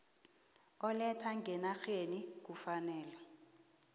oletha ngenarheni kufanele